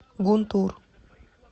гунтур